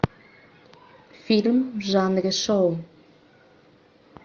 фильм в жанре шоу